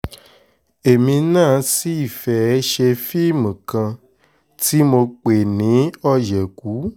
èmi náà sì fẹ́ẹ́ ṣe fíìmù kan tí mo pè ní òyekù